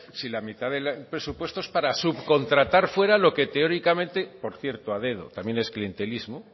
si la mitad del presupuesto es para subcontratar fuera lo que teóricamente por cierto a dedo también es clientelismo